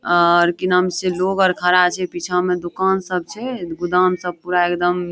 और की नाम छीये लोग आर खड़ा छै पीछा मे दुकान सब छै गोदाम सब पूरा एकदम।